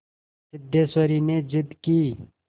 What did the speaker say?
सिद्धेश्वरी ने जिद की